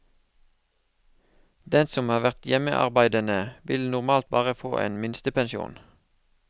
Den som har vært hjemmearbeidende, vil normalt bare får en minstepensjon.